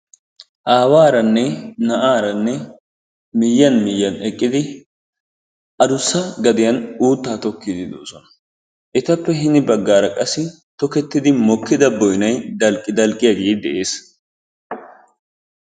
Aawaranne na'aaranne miyiyaan miyiyaan eqqidi addussa gaddiyaan uuttaa tookkiidi doosona. Etappe hini baggaara qassi tokettidi mookkida boynay dalqqi dalqqiyaagee de'es.